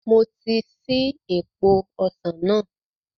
Mo ti ṣí èèpo ọsàn náà